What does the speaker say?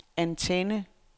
antenne